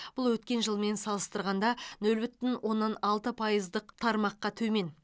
бұл өткен жылмен салыстырғанда нөл бүтін оннан алты пайыздық тармаққа төмен